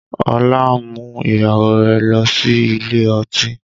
Ọlá mú ìyàwó rẹ̀ lọ sí ilé ọtí